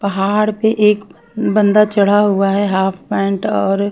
पहाड़ पे एक बंदर चढ़ा हुआ है हाफ पैन्ट और--